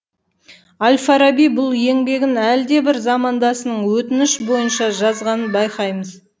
әл фараби бұл еңбегін әлдебір замандасының өтініш бойынша жазғанын байқаймыз